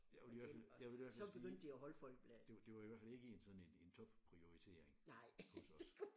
Jeg vil i hvert fald jeg vil i hvert fald sige det det var i hvert fald ikke en sådan en en top-prioritering hos os